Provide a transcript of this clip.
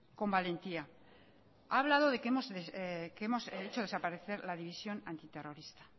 con valentía ha hablado de que hemos hecho desaparecer la división antiterrorista